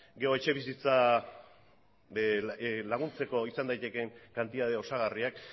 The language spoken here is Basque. gero etxebizitza laguntzeko izan daitekeen kantitate osagarriak